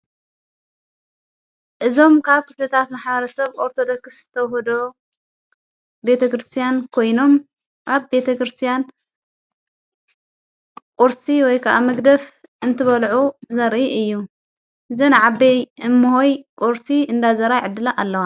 እዞም ካብ ክልታት መሓረ ሰብ ወርተ ጠክስተሁዶ ቤተ ክርስቲያን ኮይኖም ካብ ቤተ ክርስቲያን ቊርሲ ወይከዓ መግደፍ እንትበልዑ ዘርኢ እዩ ዘን ዓበይ እምሆይ ቝርሲ እንዳዘራይ ዕድላ ኣለዋ።